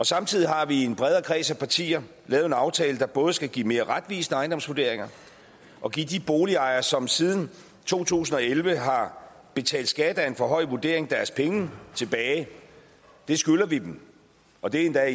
samtidig har vi i en bredere kreds af partier lavet en aftale der både skal give mere retvisende ejendomsvurderinger og give de boligejere som siden to tusind og elleve har betalt skat af en for høj vurdering deres penge tilbage det skylder vi dem og det er